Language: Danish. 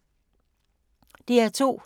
DR2